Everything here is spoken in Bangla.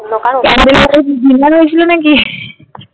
Candle আলোয় কি Dinner হয়েছিল নাকি?